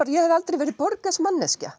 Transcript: ég hefði aldrei verið Borges manneskja